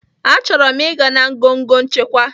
Achọrọ m ịga na ngọngọ nchịkwa